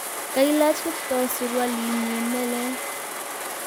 Kailach Kiptoo surualinyi nelel